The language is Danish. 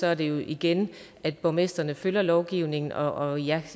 er det jo igen at borgmestrene følger lovgivningen og